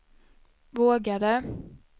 vågade